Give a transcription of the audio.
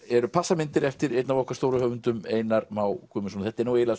eru passamyndir eftir einn af okkar stóru höfundum Einar Má Guðmundsson þetta er eiginlega